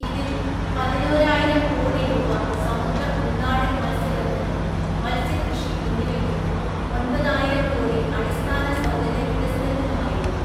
ഇതിൽ പതിനോരായിരം കോടി രൂപ സമുദ്ര ഉൾനാടൻ മൽസ്യബന്ധനം, മത്സ്യകൃഷി എന്നിവയ്ക്കും, ഒന്‍പതായിരം കോടി അടിസ്ഥാന സൗകര്യ വികസനത്തിനുമായിരിക്കും.